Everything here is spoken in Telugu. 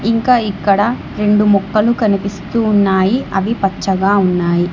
ఇంకా ఇక్కడ రెండు మొక్కలు కనిపిస్తూ ఉన్నాయి అవి పచ్చగా ఉన్నాయి.